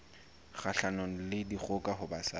kgahlanong le dikgoka ho basadi